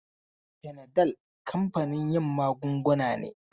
Fanadal kamfanin yin magunguna ne.